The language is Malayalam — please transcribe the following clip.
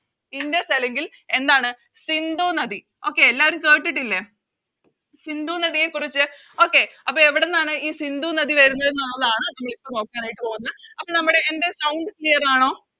ഇൻഡസ് അല്ലെങ്കിൽ എന്താണ് സിന്ധു നദി Okay എല്ലാരും കേട്ടിട്ടില്ലേ സിന്ധു നദിയെക്കുറിച്ച് Okay അപ്പൊ എവിടുന്നാണ് ഈ സിന്ധു നദി വരുന്നെന്നുള്ളതാണ് നമ്മളിപ്പോ നോക്കാനായിട്ട് പോകുന്നെ അപ്പൊ നമ്മുടെ എൻറെ Sound clear ആണോ